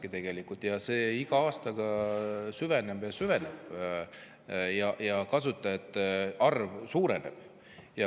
See iga aastaga süveneb ja süveneb ning kasutajate arv suureneb.